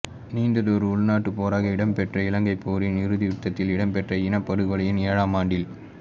நீண்டதொரு உள்நாட்டுப் போராக இடம்பெற்ற இலங்கைப் போரின் இறுதியுத்தத்தில் இடம்பெற்ற இனப்படுகொலையின் ஏழாம் ஆண்டில்